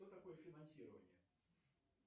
что такое финансирование